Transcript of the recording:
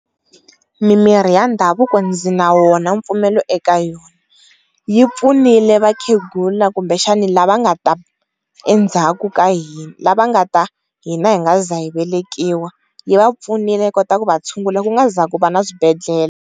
Mimirhi ya ndhavuko ndzi na wona mpfumelo eka yona, yi pfunile vakhegula kumbexani lava nga ta endzhaku ka lava va nga ta hina hi nga ze hi velekiwa yi va pfunile yi kota ku va tshungula ku nga se za ku va na swibedhlele.